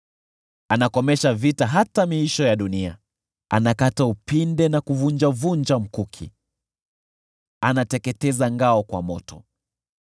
Anakomesha vita hata miisho ya dunia, anakata upinde na kuvunjavunja mkuki, anateketeza ngao kwa moto.